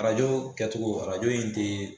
Arajo kɛtogo arajo in te